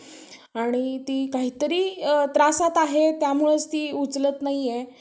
आणि ती काहीतरी त्रासात आहे त्यामुळेच ती उचलत नाहीये.